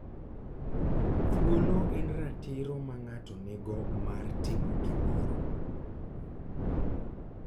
Thuolo en ratiro ma ng'ato nigo mar timo gimoro.